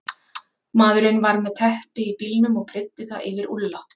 Maðurinn var með teppi í bílnum og breiddi það yfir Úlla.